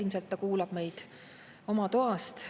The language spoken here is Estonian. Ilmselt ta kuulab meid oma toast.